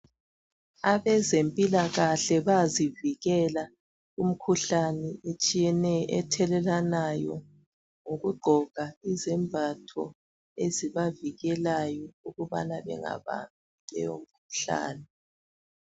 Abezempilakahle bayazivileka kumikhuhlane etshiyeneyo ethelelwanayo ngokugqoka izembatho ezibavikelayo ukubana bengabambi leyo mikhuhlane.